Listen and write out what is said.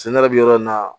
ne yɛrɛ bɛ yɔrɔ min na